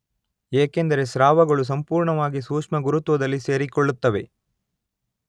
ಏಕೆಂದರೆ ಸ್ರಾವಗಳು ಸಂಪೂರ್ಣವಾಗಿ ಸೂಕ್ಷ್ಮಗುರುತ್ವದಲ್ಲಿ ಸೇರಿಕೊಳ್ಳುತ್ತವೆ.